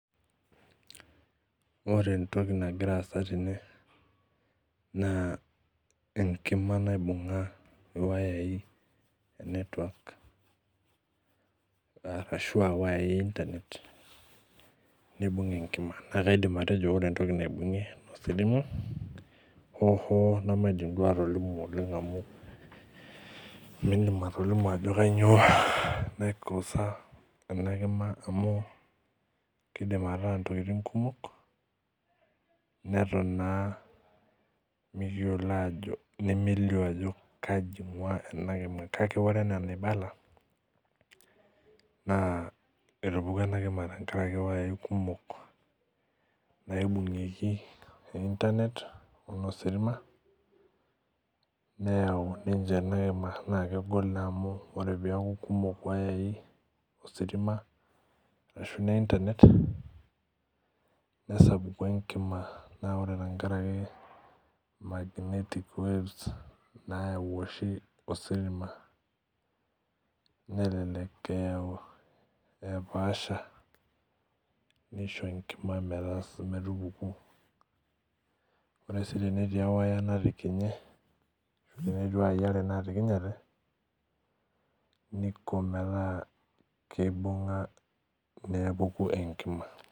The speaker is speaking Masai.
Ore entoki nagira aasa tene na enkika naibunga wayai e internet neibung enkima na kaidim atejo ore entoki naibungie enkima ho duo nimindim atolimu ajo kanyio naikosa enakima amu kidim ataa ntokitin kumok neton aa mikiyiolo ajo kai ingua enakima kake ore enaibala na etupukuo enakima tenkaraki wayai kumok naibungieki e internet oshi ositima neyau ninche amu kegol amu kekumok wayai ositima ashu ne internet nesapuku enkima neaku tenkaraki magnetic waves nayau oshibositima nelelek eyau epaasha nisho enkima metupuku ore si petii ewaya natikinye enetii wayai are natikinyate niko ketaa keibunga mepuku enkima.